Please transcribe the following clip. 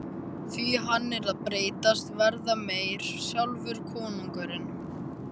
Því hann er að breytast, verða meyr, sjálfur konungurinn.